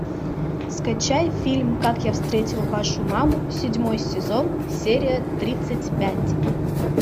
скачай фильм как я встретил вашу маму седьмой сезон серия тридцать пять